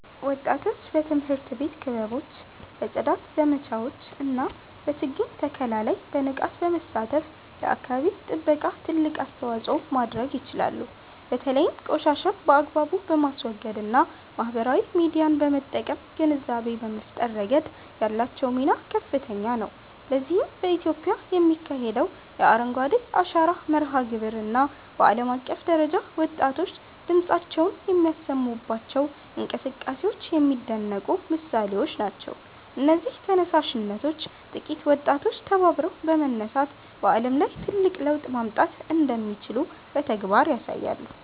ወጣቶች በትምህርት ቤት ክበቦች፣ በጽዳት ዘመቻዎች እና በችግኝ ተከላ ላይ በንቃት በመሳተፍ ለአካባቢ ጥበቃ ትልቅ አስተዋጽኦ ማድረግ ይችላሉ። በተለይም ቆሻሻን በአግባቡ በማስወገድ እና ማህበራዊ ሚዲያን በመጠቀም ግንዛቤ በመፍጠር ረገድ ያላቸው ሚና ከፍተኛ ነው። ለዚህም በኢትዮጵያ የሚካሄደው የ"አረንጓዴ አሻራ" መርሃ ግብር እና በዓለም አቀፍ ደረጃ ወጣቶች ድምፃቸውን የሚያሰሙባቸው እንቅስቃሴዎች የሚደነቁ ምሳሌዎች ናቸው። እነዚህ ተነሳሽነቶች ጥቂት ወጣቶች ተባብረው በመነሳት በዓለም ላይ ትልቅ ለውጥ ማምጣት እንደሚችሉ በተግባር ያሳያሉ